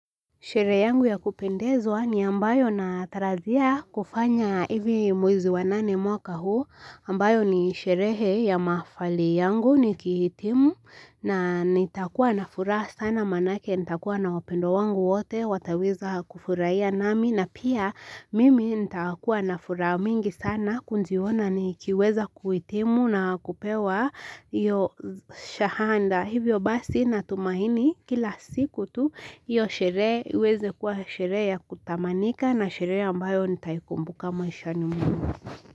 Sherehe yangu ya kupendezwa ni ambayo natarajia kufanya hivi mwezi wa nane mwaka huu ambayo ni sherehe ya mafahali yangu nikihitimu na nitakuwa na furaha sana maanake nitakuwa na wapendwa wangu wote wataweza kufurahia nami na pia mimi nitakuwa nafuraha mingi sana kujiona nikiweza kuhitimu na kupewa iyo shahada. Hivyo basi natumaini kila siku tu iyo sherehe iweze kuwa sherehe ya kutamanika na sherehe ambayo nitaikumbuka maishani mwangu.